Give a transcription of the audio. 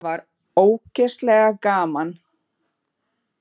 Það var ógeðslega gaman.